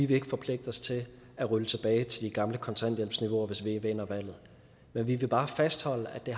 vil forpligte os til at rulle tilbage til de gamle kontanthjælpsniveauer hvis vi vinder valget men vi vil bare fastholde at det